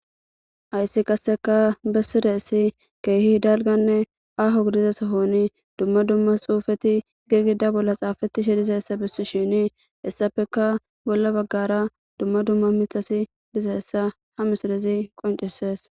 ayssi qasseka bessireessi keehi hidalganne aho gidizasohoni dumma dumma xuufeti gegida bolla xaafatishe dizayessa bissi shini hessafeka bolla baggara dumma dumma mitasi dizeessa ha misirezi qoncesees